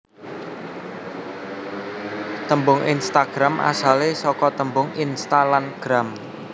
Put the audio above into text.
Tembung Instagram asale saka tembung Insta lan Gram